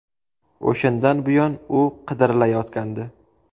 O‘shandan buyon u qidirilayotgandi.